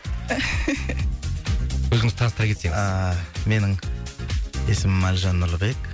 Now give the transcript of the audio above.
өзіңізді таныстыра кетсеңіз ааа менің есімім әлжан нұрлыбек